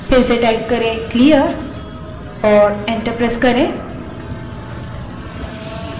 फिर से clear type करें और enter दबायें